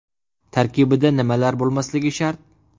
Tarkibida nimalar bo‘lmasligi shart?